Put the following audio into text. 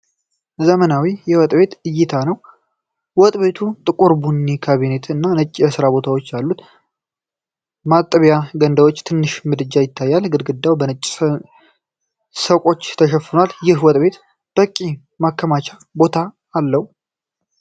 ዘመናዊ የወጥ ቤት እይታ ነው። ወጥ ቤቱ ጥቁር ቡኒ ካቢኔቶች እና ነጭ የስራ ቦታዎች አሉት። ማጠቢያ ገንዳና ትንሽ ምድጃ ይታያሉ። ግድግዳው በነጭ ሰቆች ተሸፍኗል። ይህ ወጥ ቤት በቂ የማከማቻ ቦታ አለው?